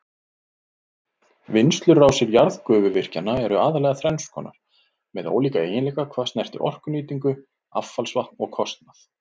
Vinnslurásir jarðgufuvirkjana eru aðallega þrenns konar með ólíka eiginleika hvað snertir orkunýtingu, affallsvatn og kostnað.